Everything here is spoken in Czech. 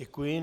Děkuji.